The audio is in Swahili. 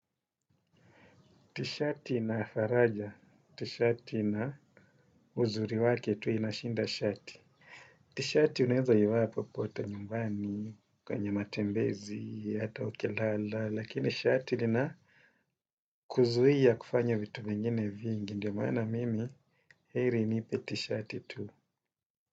Tishati na faraja. Tishati na uzuri wake tu inashinda shati. Tishati unaeza ivaa popote nyumbani, kwenye matembezi, hata ukilala. Lakini shati lina kuzuia kufanya vitu vingine vingi. Ndio maana mimi, heri nipe tishati tu.